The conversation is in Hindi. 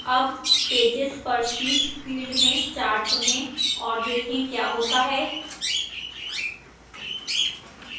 अब pages per sheet field में 4 चुनें और देखें क्या होता है